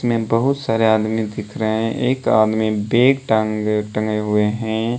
इसमें बहुत सारे आदमी दिख रहे हैं एक आदमी बैग टांगे टंगे हुए हैं।